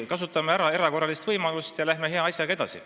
Kasutame ära erakorralist võimalust ja läheme hea asjaga edasi.